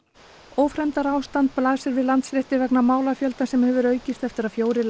ófremdarástand blasir við Landsrétti vegna málafjölda sem hefur aukist eftir að fjórir